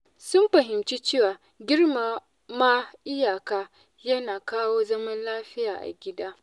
Sun fahimci cewa girmama iyaka yana kawo zaman lafiya a gida.